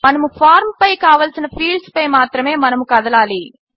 మనకు ఫార్మ్ పై కావలసిన ఫీల్డ్స్పై మాత్రమే మనము కదలాలి